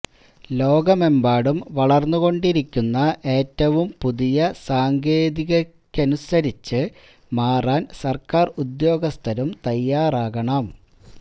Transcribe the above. ലോകമെമ്പാടും വളര്ന്നു കൊണ്ടിരിക്കുന്ന ഏറ്റവും പുതിയ സാങ്കേതികതയ്ക്കനുസരിച്ച് മാറാൻ സർക്കാർ ഉദ്യോഗസ്ഥരും തയാറാകണം